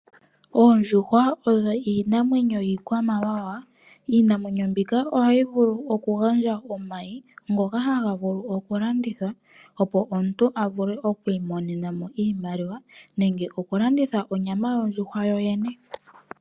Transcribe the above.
Oondjuhwa odho iinamwenyo yiikwamawawa. Iinamwenyo mbika ohayi vulu oku gandja omayi ngoka haga vulu oku landithwa opo opo omuntu a vule oku imonenamo iimaliwa, nenge oku landitha onyama yondjuhwa yoyene.